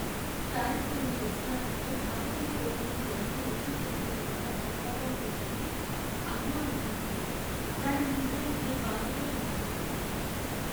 పారిస్లోని రెస్టారెంట్లో భారతీయ భోజనం ఎంత రుచీపచీ లేకుండా చప్పగా ఉండిందంటే, అయ్యో అనిపించింది. దానిని తినాలంటే బాధగా అనిపించింది.